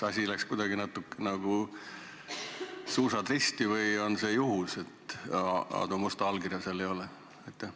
Kas läksid natukene, nagu öeldakse, suusad risti või on see juhus, et Aadu Musta allkirja siin ei ole?